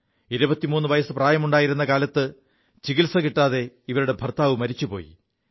23 വയസ്സ് പ്രായമുണ്ടായിരു കാലത്ത് ചികിത്സ കിാതെ ഇവരുടെ ഭർത്താവു മരിച്ചുപോയി